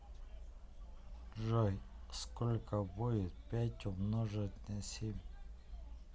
джой сколько будет пять умножить на семь